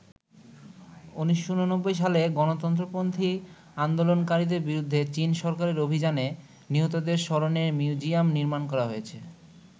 ১৯৮৯ সালে গণতন্ত্রপন্থী আন্দোলনকারীদের বিরুদ্ধে চীন সরকারের অভিযানে নিহতদের স্মরণে মিউজিয়াম নির্মাণ করা হয়েছে।